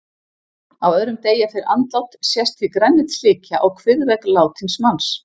Á öðrum degi eftir andlát sést því grænleit slikja á kviðvegg látins manns.